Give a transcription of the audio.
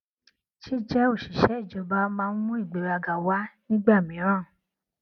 jíjẹ òṣìṣẹ ìjọba máa ń mú ìgbéraga wá nígbà mìíràn